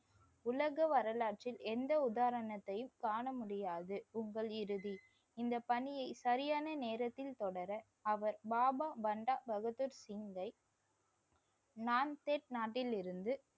உலக வரலாற்றில் எந்த உதாரணத்தையும் காண முடியாது. உங்கள் இறுதி. இந்த பணியை சரியான நேரத்தில் தொடர அவர் பாபா பண்டா பகதூர் சிங்கை நான்செட் நாட்டிலிருந்து